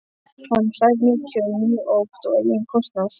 Hann hlær mikið og mjög oft á eigin kostnað.